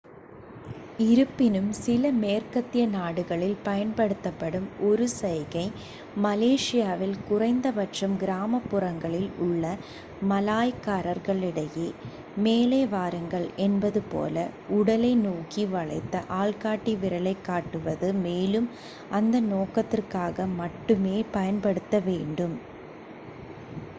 "இருப்பினும் சில மேற்கத்திய நாடுகளில் பயன்படுத்தப்படும் ஒரு சைகை மலேசியாவில் குறைந்த பட்சம் கிராமப்புறங்களில் உள்ள மலாய்க்காரர்களிடையே "மேலே வாருங்கள்" என்பது போல உடலை நோக்கி வளைந்த ஆள்காட்டி விரலைக்காட்டுவது மேலும் அந்த நோக்கத்திற்காக மட்டுமே பயன்படுத்தப்பட வேண்டும்.